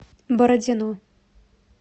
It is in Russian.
бородино